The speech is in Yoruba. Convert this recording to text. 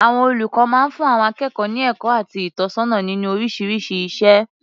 Àwọn olùkọ máa ń fún àwọn akékọ̀ọ́ ní ẹ̀kọ́ àti ìtọ́nisọ́nà nínú oríṣiríṣi iṣẹ́.